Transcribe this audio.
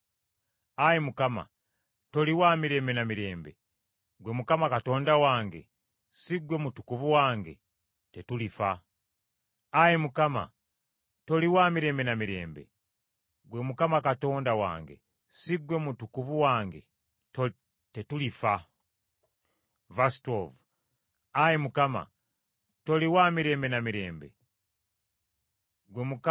Ayi Mukama toli wa mirembe na mirembe, ggwe Mukama Katonda wange, si ggwe Mutukuvu wange? Tetulifa. Ayi Mukama ggwe wabateekawo n’obawa amaanyi batusalire emisango. Era ggwe Olwazi, wabateekawo kubonereza.